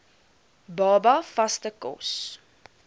baba vaste kos